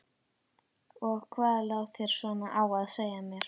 Og hvað lá þér svona á að segja mér?